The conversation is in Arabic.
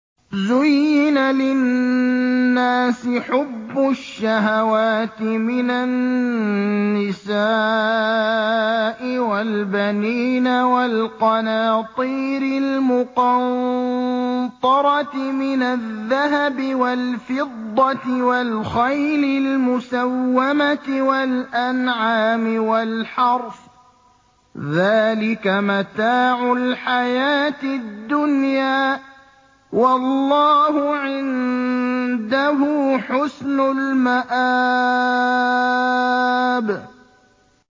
زُيِّنَ لِلنَّاسِ حُبُّ الشَّهَوَاتِ مِنَ النِّسَاءِ وَالْبَنِينَ وَالْقَنَاطِيرِ الْمُقَنطَرَةِ مِنَ الذَّهَبِ وَالْفِضَّةِ وَالْخَيْلِ الْمُسَوَّمَةِ وَالْأَنْعَامِ وَالْحَرْثِ ۗ ذَٰلِكَ مَتَاعُ الْحَيَاةِ الدُّنْيَا ۖ وَاللَّهُ عِندَهُ حُسْنُ الْمَآبِ